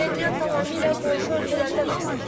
Nəqliyyat tamamilə qonşu ölkələrdən asılıdır.